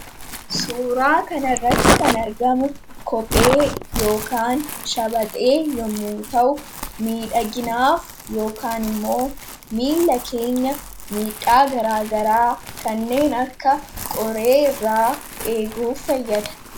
Suuraa kanarratti kan argamu kophee yookaan shabaxee yommuu ta'u miidhaginaaf yookaan immoo miilla keenya miidhaa garaa garaa kanneen akka qoree irraa eeguuf fayyada.